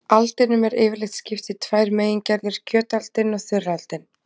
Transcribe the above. Aldinum er yfirleitt skipt í tvær megingerðir, kjötaldin og þurraldin.